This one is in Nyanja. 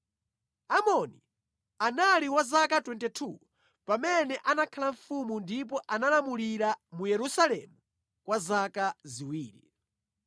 Amoni anali wa zaka 22 pamene anakhala mfumu ndipo analamulira mu Yerusalemu kwa zaka ziwiri.